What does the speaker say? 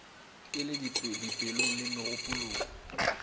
e le dipelong le megopolong